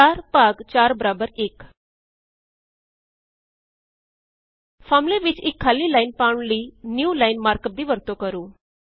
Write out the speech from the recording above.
4 ਭਾਗ 4 ਬਰਾਬਰ 1 ਫਾਰਮੂਲੇ ਵਿੱਚ ਇੱਕ ਖਾਲੀ ਲਾਇਨ ਪਾਉਣ ਲਈ ਨਿਊਲਾਈਨ ਮਾਰਕ ਅਪ ਦੀ ਵਰਤੋਂ ਕਰੋ